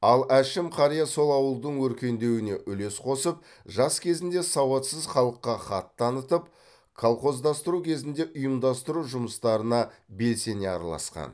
ал әшім қария сол ауылдың өркендеуіне үлес қосып жас кезінде сауатсыз халыққа хат танытып колхоздастыру кезінде ұйымдастыру жұмыстарына белсене араласқан